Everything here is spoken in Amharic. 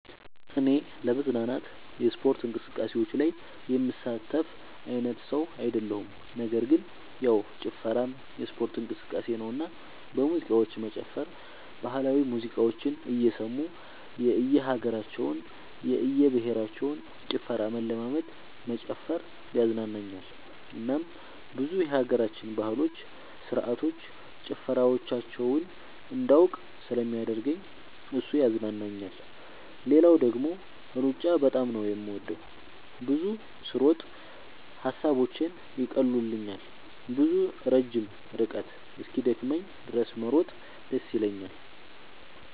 እኔ ለመዝናናት የስፖርት እንቅስቃሴዎች ላይ የምሳተፍ አይነት ሰው አይደለሁም ነገር ግን ያው ጭፈራም የስፖርት እንቅስቃሴ ነውና በሙዚቃዎች መጨፈር ባህላዊ ሙዚቃዎችን እየሰሙ የእየሀገራቸውን የእየብሄረሰቦችን ጭፈራ መለማመድ መጨፈር ያዝናናኛል እናም ብዙ የሀገራችንን ባህሎች ስርዓቶች ጭፈራዎቻቸውን እንዳውቅ ስለሚያደርገኝ እሱ ያዝናናኛል። ሌላው ደግሞ ሩጫ በጣም ነው የምወደው። ብዙ ስሮጥ ሐሳቦቼን ይቀሉልኛል። ብዙ ረጅም ርቀት እስኪደክመኝ ድረስ መሮጥ ደስ ይለኛል።